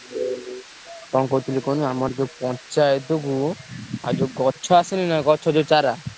କଣ କହୁଥିଲି କୁହନି ଆମର ଯୋଉ ପଞ୍ଚାୟତକୁ ଆଉ ଯୋଉ ଗଛ ଆସିନି ନା ଗଛ ଯୋଉ ଚାରା?